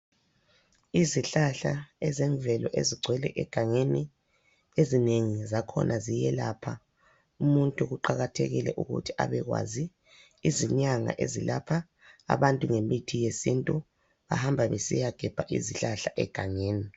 Izihlahla ezemvelo ezigcwele egangeni ezinengi zakhona ziyelapha umuntu kuqakathekile ukuthi abekwazi izinyanga ezelapha abantu ngemithi yesintu bahamba besiyagebha izihlahla egangeni.